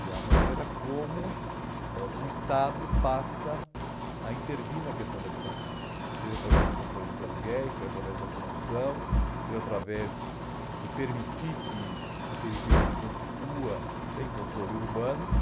e a maneira como ãh o Estado passa a intervir na questão da habitação, seja através do controle dos aluguéis, seja através da produção, seja através de permitir que a periferia se constitua sem controle urbano